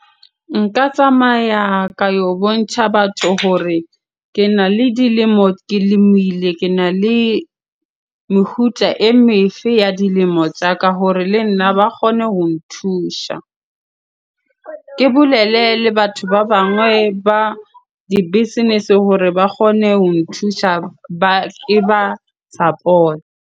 Nka tsamaya ka yo bontjha batho hore kena le dilemo, ke lemile. Kena le meguta e me fe ya dilemo tsa ka hore le nna ba kgone ho nthusha. Ke bolele le batho ba bangwe ba di business-e hore ba kgone ho nthusha ba, ke ba .